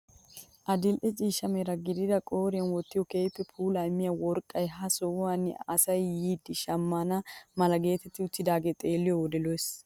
Adil'e ciishsha mera gidida qooriyaan wottin keehippe puulaa immiyaa worqqay ha sohuwaan asay yiidi shammana mala getetti uttidaagee xeelliyoo wode lo"ees!